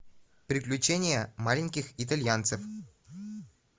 приключения маленьких итальянцев